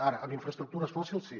ara amb infraestructures fòssils sí